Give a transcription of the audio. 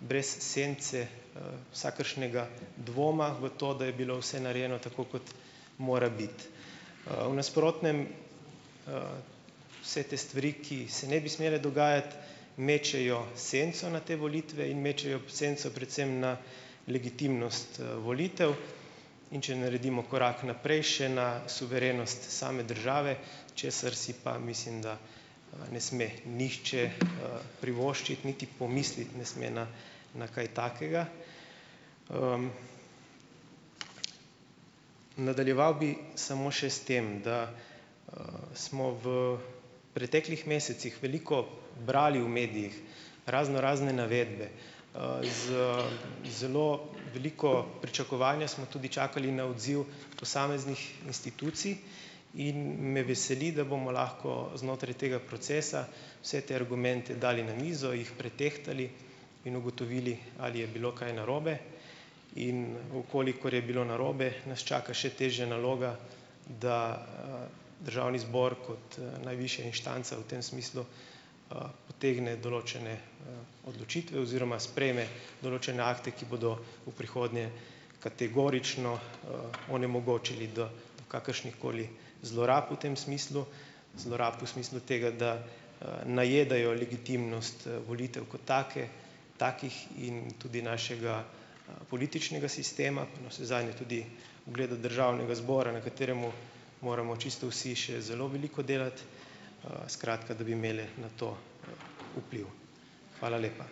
brez sence, vsakršnega dvoma v to, da je bilo vse narejeno tako, kot mora biti. v nasprotnem, vse te stvari, ki se ne bi smele dogajati, mečejo senco na te volitve in mečejo senco predvsem na legitimnost, volitev, in če naredimo korak naprej še na suverenost same države, česar si pa mislim, da ne sme nihče, privoščiti niti pomisliti ne sme na na kaj takega. Nadaljeval bi samo še s tem, da, smo v preteklih mesecih veliko brali v medijih raznorazne navedbe. Z zelo veliko pričakovanja smo tudi čakali na odziv posameznih institucij in me veseli, da bomo lahko znotraj tega procesa vse te argumente dali na mizo, jih pretehtali in ugotovili, ali je bilo kaj narobe. In v kolikor je bilo narobe, nas čaka še težja naloga, da, državni zbor kot, najvišja inštanca v tem smislu, potegne določene, odločitve oziroma sprejme določene akte, ki bodo v prihodnje kategorično, onemogočili, da kakršnihkoli zlorab v tem smislu, zlorab v smislu tega, da, najedajo legitimnost, volitev kot take, takih in tudi našega, političnega sistema, navsezadnje tudi ugled državnega zbora, na katerem moramo čisto vsi še zelo veliko delati, skratka, da bi imeli na to, vpliv. Hvala lepa.